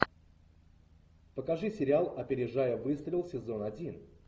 покажи сериал опережая выстрел сезон один